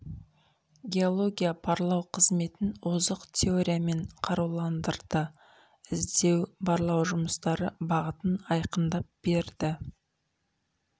геология барлау қызметін озық теориямен қаруландырды іздеу барлау жұмыстары бағытын айқындап берді